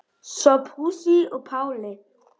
Sophusi og Páli.